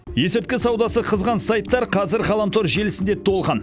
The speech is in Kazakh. есірткі саудасы қызған сайттар қазір ғаламтор желісінде толған